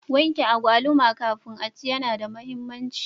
Wanke agwaluma kafin aci yana da muhimmanci.